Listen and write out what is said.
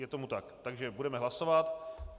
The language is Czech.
Je tomu tak, takže budeme hlasovat.